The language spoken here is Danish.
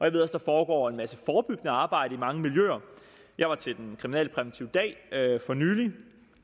at der foregår en masse forebyggende arbejde i mange miljøer jeg var til den kriminalpræventive dag for nylig og